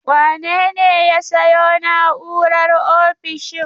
Wane ne ya sayo na'urar ofishin?